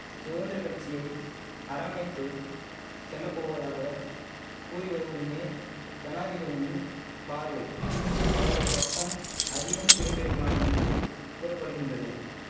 சுகந்திரக் கட்சியை அரவணைத்து செல்ல போவதாக கூறி வருவதுமே ஜனாதிபதியின் பார்வை அவரது பக்கம் அதிகம் திரும்பியிருக்கலாம் என்று கூற படுகின்றது